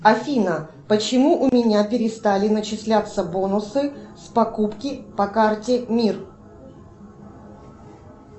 афина почему у меня перестали начисляться бонусы с покупки по карте мир